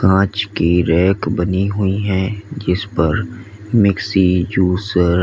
पांच की रैक बनी हुई है जिस पर मिक्सी जूसर --